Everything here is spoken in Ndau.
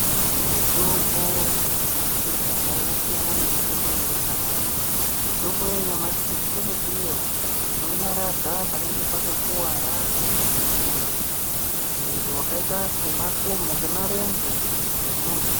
Mitombo yekudhaya yasiyana nemitombo yanyamashi, mitombo yanyamashi kune iyo inonyaradza panenge pakakuwara kumwiri wakaita semarenje emuntu.